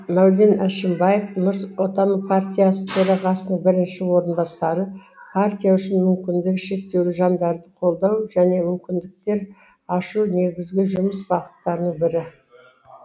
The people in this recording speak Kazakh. мәулен әшімбаев нұрс отан партиясы төрағасының бірінші орынбасары партия үшін мүмкіндігі шектеулі жандарды қолдау және мүмкіндіктер ашу негізгі жұмыс бағыттарының бірі